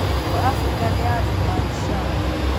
Bidco Africa nĩ ya Vimal Shah.